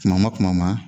Kuma ma kuma ma